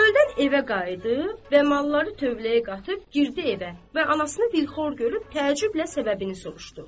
Çöldən evə qayıdıb və malları tövləyə qatıb girdi evə və anasını bir xor görüb təəccüblə səbəbini soruşdu.